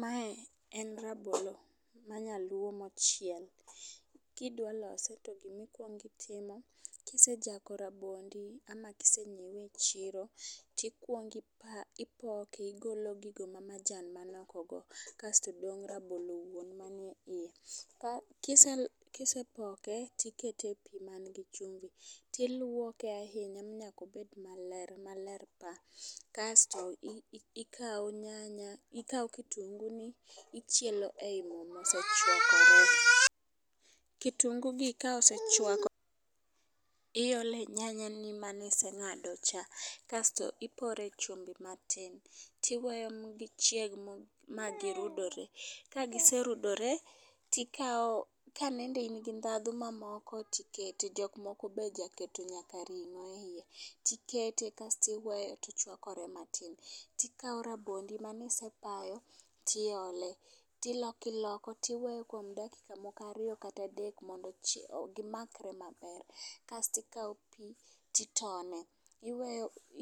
Mae en rabolo mar nyaluo machiek. Kidwa lose to gimi kwong itimo kisejako rabondi ama kisenyiwe e chiro ,tikwong ipa ipok eigolo gik ma majan man oko go kasto dong' rabolo. Kisepoke tikete epii man gi chumvi tilyonke ahinya nyako bed maler maler paa kasto i i ikawo ikawo nyanya ikawo kitungu ni ichielo e moo mosechwakore . Kitungu gi ka osechwakore iole nyanya maniseng'ado cha kasto ipore chumbi matin tiwe ma gichieg ma girudre . Ka giserudore to ikawo kanende in gi ndhadhu mamoko tikete jok moko be jakete nyaka ring'o e iye ikete tiwe ochwakore matin, tikawo rabondi manisepayo tiole tiloko iloko iwe kuom dakika moko ariyo kata adek mondo ochie gimakre maber. Kasti kawo pii titone iwe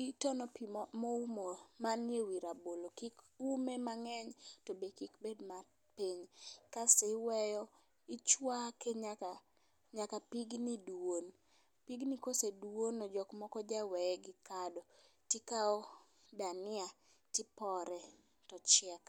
itemo pii moumo manie wii rabolo kik ume mang'eny to be kik bed mapiny kasti iweyo ichwake nyaka pigni duon. Pigni koseduono jok moko jaweye gi kado tikawo dania tipore tochiek.